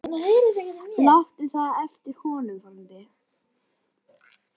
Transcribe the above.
Láttu það eftir honum, frændi.